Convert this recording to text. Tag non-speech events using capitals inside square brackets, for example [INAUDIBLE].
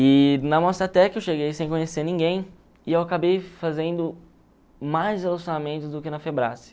E na Mostratec eu cheguei sem conhecer ninguém e eu acabei fazendo mais relacionamentos do que na [UNINTELLIGIBLE]